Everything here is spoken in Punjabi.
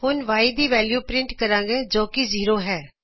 ਅਤੇ Y ਦੀ ਵੈਲਯੂ ਪਰਿੰਟ ਕਰਾਗੇ ਜੋ ਕੀ ਜ਼ੀਰੋ ਹੈ